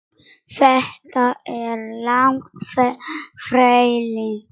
Þetta er langt ferli.